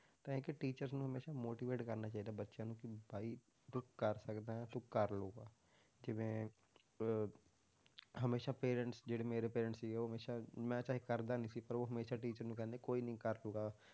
ਤਾਂ ਇੱਕ teacher ਨੂੰ ਹਮੇਸ਼ਾ motivate ਕਰਨਾ ਚਾਹੀਦਾ ਬੱਚਿਆਂ ਨੂੰ ਕਿ ਵੀ ਤੂੰ ਕਰ ਸਕਦਾ ਤੂੰ ਕਰ ਲਊਗਾ, ਜਿਵੇਂ ਅਹ ਹਮੇਸ਼ਾ parents ਜਿਹੜੇ ਮੇਰੇ parents ਸੀ, ਉਹ ਹਮੇਸ਼ਾ ਮੈਂ ਚਾਹੇ ਕਰਦਾ ਨੀ ਸੀ ਪਰ ਉਹ ਹਮੇਸ਼ਾ teacher ਨੂੰ ਕਹਿੰਦੇ ਕੋਈ ਨੀ ਕਰ ਲਊਗਾ,